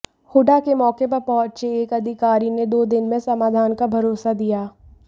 हूडा के मौके पर पहुंचे एक अधिकारी ने दो दिन में समाधान का भरोसा दिया